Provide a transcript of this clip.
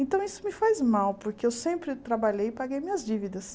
Então, isso me faz mal, porque eu sempre trabalhei e paguei minhas dívidas.